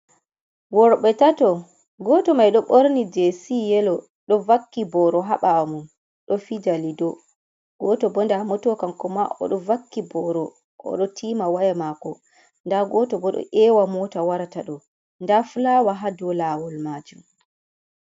Worɓe tato goto mai do ɓorni jesi yelo ɗo vakki boro ha ɓawo mun ɗo fija lido goto bo ɗo ndamo to vakki boro kan koma oɗo vakki boro odo tiima waya mako nda goto bo ɗo ewa mota warata ɗo nda fulaawa ha dou lawol majum.